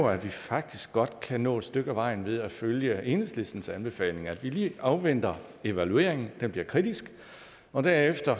at vi faktisk godt kan nå et stykke af vejen ved at følge enhedslistens anbefalinger nemlig at vi lige afventer evalueringen den bliver kritisk og derefter